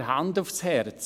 Aber Hand aufs Herz: